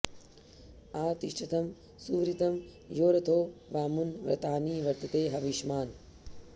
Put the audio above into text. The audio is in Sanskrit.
आ ति॑ष्ठतं सु॒वृतं॒ यो रथो॑ वा॒मनु॑ व्र॒तानि॒ वर्त॑ते ह॒विष्मा॑न्